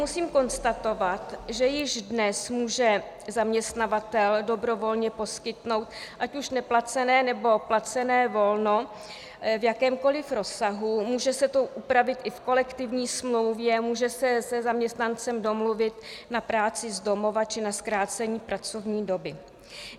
Musím konstatovat, že již dnes může zaměstnavatel dobrovolně poskytnout ať už neplacené, nebo placené volno v jakémkoliv rozsahu, může se to upravit i v kolektivní smlouvě, může se se zaměstnancem domluvit na práci z domova či na zkrácení pracovní doby.